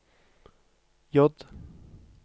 J